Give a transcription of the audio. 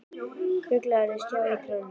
Fuglarnir sitja í trjánum.